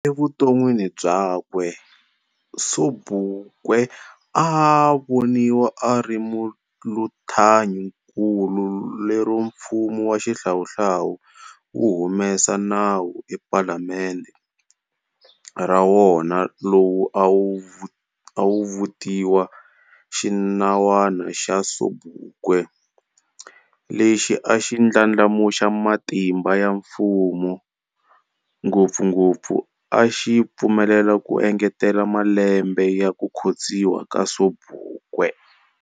Evuton'wini byakwe, Sobukwe a a voniwa ari muluthanyinkulu lero mfumo wa xihlawuhlawu wu humese nawu ephalamendhe ra wona lwu a wu vutiwa"Xinawana xa Sobukwe", lexi a xi ndlandlamuxa matimba ya mfumo, ngopfungopfu a xi pfumelela ku engetela malembe ya ku khostsiwa ka Sobukwe.